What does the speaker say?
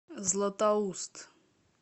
златоуст